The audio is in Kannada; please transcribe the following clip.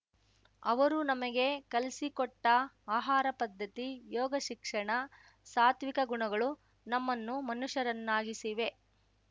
ಅವರು ನಮಗೆ ಕಲ್ಸಿಕೊಟ್ಟಆಹಾರ ಪದ್ಧತಿ ಯೋಗ ಶಿಕ್ಷಣ ಸಾತ್ವಿಕ ಗುಣಗಳು ನಮ್ಮನ್ನು ಮನುಷ್ಯರನ್ನಾಗಿಸಿವೆ